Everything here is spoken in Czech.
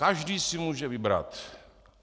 Každý si může vybrat.